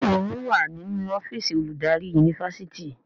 Béèni wón wá nínú ọ́fíìsì oludari Yunifásitìni.